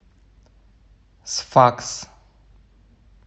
сфакс